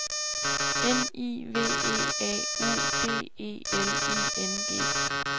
N I V E A U D E L I N G